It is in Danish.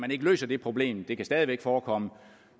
ikke løser det problem det kan stadig væk forekomme